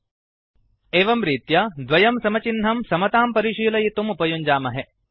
एवं रीत्या double equal तो द्वयं समचिह्नं समतां परिशीलयितुम् उपयुञ्जामहे